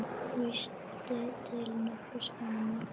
Vísi til nokkurs ama.